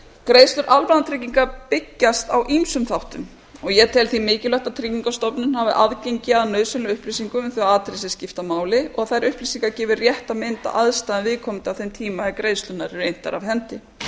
greiðslur almannatrygginga byggjast á ýmsum þáttum ég tel því mikilvægt að tryggingastofnun hafi aðgengi að nauðsynlegum upplýsingum um þau atriði sem skipta máli og þær upplýsingar gefi rétta mynd af aðstæðum viðkomandi á þeim tíma er greiðslurnar eru inntar af hendi